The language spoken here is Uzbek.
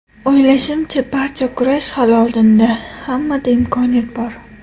O‘ylashimcha, barcha kurash hali oldinda, hammada imkoniyat bor.